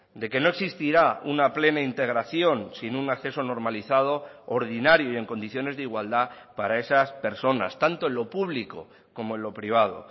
de que no existirá una plena integración sin un acceso normalizado ordinario y en condiciones de igualdad para esas personas tanto en lo público como en lo privado